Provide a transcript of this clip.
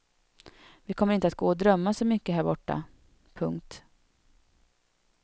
Vi kommer inte att gå och drömma så mycket här borta. punkt